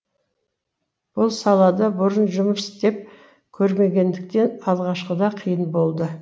бұл салада бұрын жұмыс істеп көрмегендіктен алғашқыда қиын болды